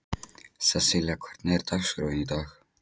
Sesselía, hvernig er dagskráin í dag?